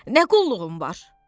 Nə qulluğun var?